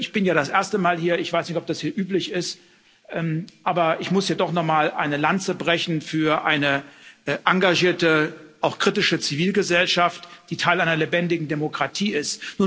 Ich bin ja das erste Mal hier, ich weiß noch nicht, ob das hier üblich ist, aber ich muss hier doch noch mal eine Lanze für eine engagierte, auch kritische Zivilgesellschaft brechen, die Teil einer lebendigen Demokratie ist.